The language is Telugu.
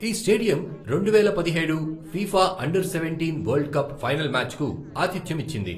ఈ స్టేడియం రెండువేల పదిహేడు FIFA under seventeen world cup final మ్యాచ్కు ఆతిథ్యం ఇచ్చింది.